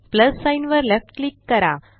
plus sign वर left click करा